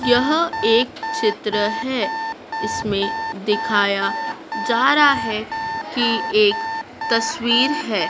यह एक चित्र है इसमें दिखाया जा रहा है कि एक तस्वीर है।